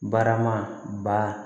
Barama ba